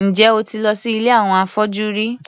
Ǹjẹ́ o ti lọ sí ilé àwọn afọ́jú rí?